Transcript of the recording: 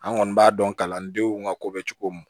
An kɔni b'a dɔn kalandenw ka ko bɛ cogo min